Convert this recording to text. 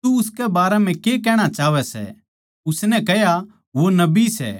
तू उसकै बारै म्ह तेरी के राय सै उसनै कह्या वो नबी सै